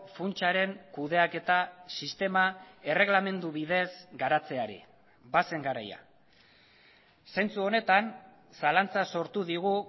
funtsaren kudeaketa sistema erreglamendu bidez garatzeari bazen garaia zentzu honetan zalantza sortu digu